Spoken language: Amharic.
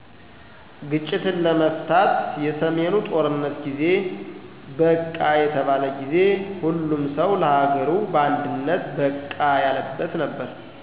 ግጭትን ለመፍታት የሰሜኑ ጦርነት ጊዜ #በቃ የተባለ ጊዜ። ሁሉም ሠው ለሀገሩ በአንድነት #በቃ ያለበት ነበር